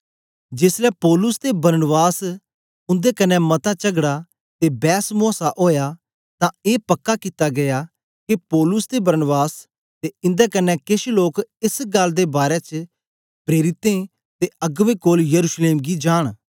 जेसलै पौलुस ते बरनबास दा उंदे कन्ने मता चगड़ा ते बैसमूआसा ओया तां ए पक्का कित्ता गीया के पौलुस ते बरनबास ते इंदे क्न्ने केछ लोक एस गल्ल दे बारै च प्रेरितें ते अगबें कोल यरूशलेम गी जांन